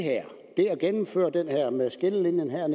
at gennemføre det her med en skillelinje her